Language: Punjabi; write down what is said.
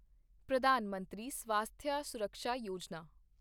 ਪ੍ਰਧਾਨ ਮੰਤਰੀ ਸਵਾਸਥਿਆ ਸੁਰਕਸ਼ਾ ਯੋਜਨਾ